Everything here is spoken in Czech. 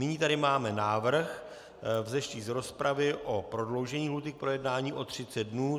Nyní tady máme návrh vzešlý z rozpravy o prodloužení lhůty k projednání o 30 dnů.